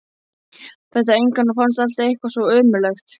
Þekkti engan og fannst allt eitthvað svo ömurlegt.